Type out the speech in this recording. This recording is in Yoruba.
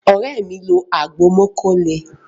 Ore mi nlọ agbo mókó lè.